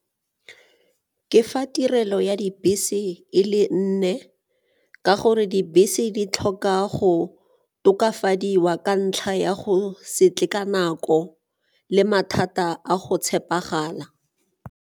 Ke fa tirelo ya dibese e le nne ka gore dibese di tlhoka go tokafadiwa ka ntlha ya go se tle ka nako le mathata a go tshepagala.